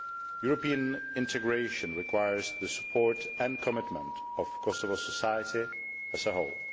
European integration requires the support and commitment of Kosovo society as a whole.